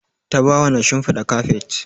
Tabawa na shinfiɗa kafet.